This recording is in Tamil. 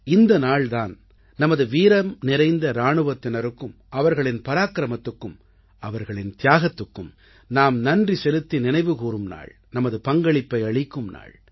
இந்த நாள் தான் நமது வீரம்நிறைந்த இராணுவத்தினருக்கும் அவர்களின் பராக்கிரமத்துக்கும் அவர்களின் தியாகத்துக்கும் நாம் நன்றி செலுத்தி நினைவுகூரும் நாள் நமது பங்களிப்பை அளிக்கும் நாள்